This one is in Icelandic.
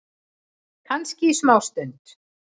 Kannski í smástund.